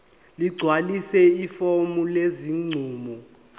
ligcwalise ifomu lesinqumo